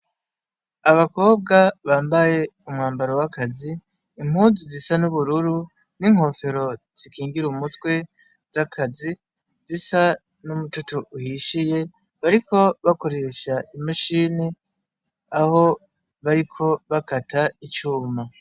Abakobwa bambaye umwambaro w'akazi, impuzu zisa n'ubururu n'inkofero zikingira umutwe z'akazi zisa n'umutoto uhishiye. Bariko bakoresha imashini aho bariko bakata icuma.